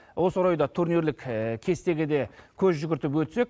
осы орайда турнирлік кестеге де көз жүгіртіп өтсек